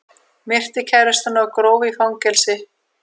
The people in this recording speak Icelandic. Myrti kærustuna og gróf í fangelsi